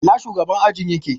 Ina shugaban ajin yake?